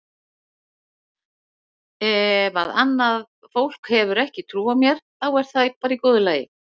Ef að annað fólk hefur ekki trú á mér þá er það í góðu lagi.